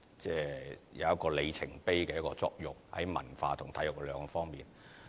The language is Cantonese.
這兩個項目在文化和體育兩方面有里程碑的作用。